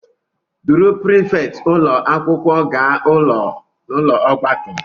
Duru prifétị ụlọ akwụkwọ gaa n'ụlọ ọgbakọ